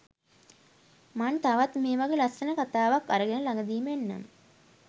මන් තවත් මේවගෙ ලස්සන කතාවක් අරගෙන ලගදිම එන්නම්